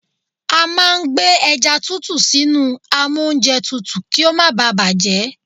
A máa ń gbé ẹja tútù sínú amóúnjẹtutù kí ó má baà bàjẹ́.